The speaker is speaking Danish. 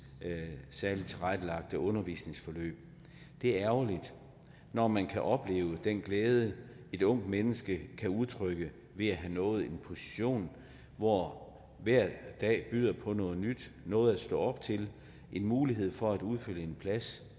særligt tilrettelagte undervisningsforløb det er ærgerligt når man kan opleve den glæde et ungt menneske kan udtrykke ved at have nået en position hvor hver dag byder på noget nyt noget at stå op til en mulighed for at udfylde en plads